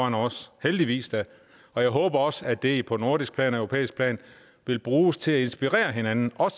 end os heldigvis da og jeg håber også at det på nordisk plan og europæisk plan vil bruges til at inspirere hinanden og at